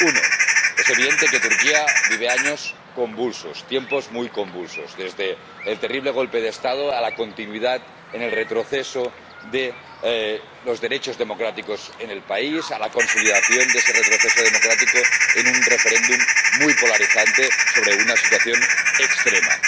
Uno es evidente que Turquía vive años convulsos, tiempos muy convulsos, desde el terrible golpe de Estado a la continuidad en el retroceso de los derechos democráticos en el país a la consolidación de ese retroceso democrático en un referéndum muy polarizante sobre una situación extrema